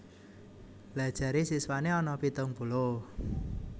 Lha jare siswane ana pitung puluh